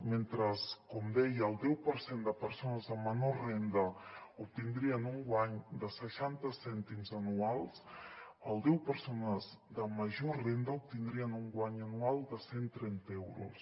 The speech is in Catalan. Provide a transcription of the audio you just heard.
mentre com deia el deu per cent de persones amb menor renda obtindrien un guany de seixanta cèntims anuals el deu per cent de persones de major renda obtindrien un guany anual de cent trenta euros